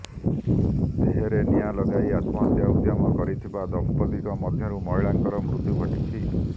ଦେହରେ ନିଆଁ ଲଗାଇ ଆତ୍ମହତ୍ୟା ଉଦ୍ୟମ କରିଥିବା ଦମ୍ପତିଙ୍କ ମଧ୍ୟରୁ ମହିଳାଙ୍କର ମୃତ୍ୟୁ ଘଟିଛି